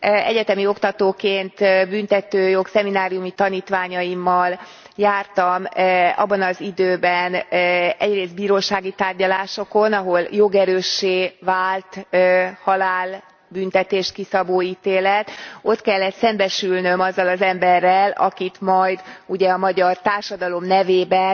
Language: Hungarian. Egyetemi oktatóként, büntetőjog szemináriumi tanítványaimmal jártam abban az időben egyrészt bírósági tárgyalásokon, ahol jogerőssé vált halálbüntetést kiszabó ítélet. Ott kellett szembesülnöm azzal az emberrel, akit majd ugye a magyar társadalom nevében